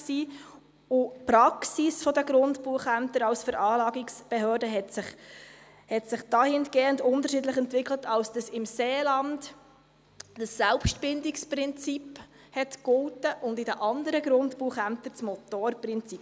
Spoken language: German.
Die Praxis der Grundbuchämter als Veranlagungsbehörde hat sich dahingehend unterschiedlich entwickelt, dass im Seeland das Selbstbildungsprinzip galt und in den anderen Grundbuchämtern das Motorprinzip.